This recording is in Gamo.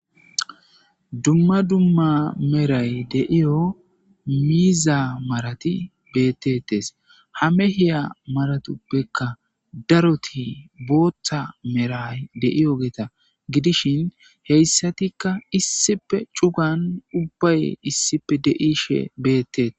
Dumma dumma meray deiyo miiza marati bettetes ha mehiya maratoppekka daroti booththa meray de7iyo geeta gidishin heyssatikka issipe cugan ubbay issipe deishe beettee.